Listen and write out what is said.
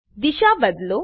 દિશા બદલો